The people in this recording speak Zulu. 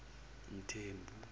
mthembu